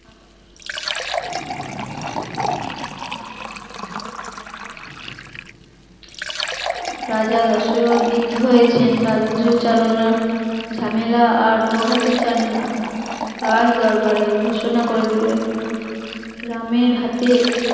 রাজা দশরথ বৃদ্ধ হয়েছেন রাজ্য চালনা ঝামেলা আর পোহাতে চান না, রাজ দরবারে ঘোষণা করে দিলেন রামের হাতে